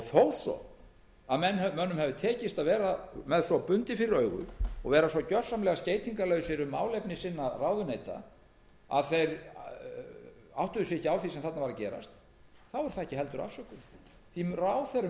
þó að mönnum hafi tekist að vera með svo bundið fyrir augu og vera svo gjörsamlega skeytingarlausir um málefni ráðuneyta sinna að þeir áttuðu sig ekki á því sem þarna var að gerast þá er það ekki heldur afsökun ráðherrum ber að